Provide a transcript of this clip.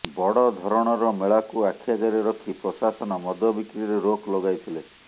ବଡ଼ ଧରଣର ମେଳାକୁ ଆଖି ଆଗରେ ରଖି ପ୍ରଶାସନ ମଦବିକ୍ରିରେ ରୋକ ଲଗାଇଥିଲେ